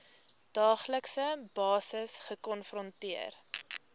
daaglikse basis gekonfronteer